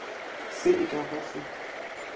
se e ka ba se